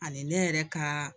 Ani ne yɛrɛ ka